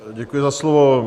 Děkuji za slovo.